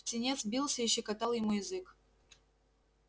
птенец бился и щекотал ему язык